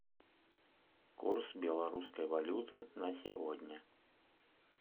курс белорусской валюты на сегодня